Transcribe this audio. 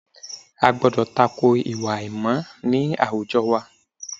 A gbọ́dọ̀ ta ko ìwà àìmọ̀ ní àwùjọ wa